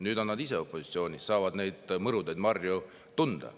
Nüüd on nad ise opositsioonis, saavad neid mõrusid marju tunda.